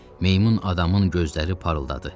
Meymun adamın gözləri parıldadı.